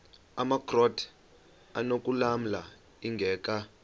amakrot anokulamla ingeka